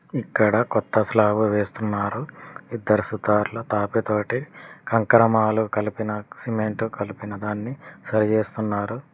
ఇక్కడ కొత్త స్లాబు వేస్తున్నారు ఇద్దరు సుతార్లు తాపి తోటి కంకర మాలు కలిపినా సిమెంటు కలిపిన దాన్ని సరిచేస్తున్నారు.